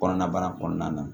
Kɔnɔna bana kɔnɔna na